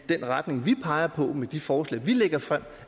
den retning vi peger på med de forslag vi lægger frem